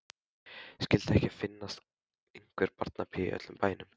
Skyldi ekki finnast einhver barnapía í öllum bænum.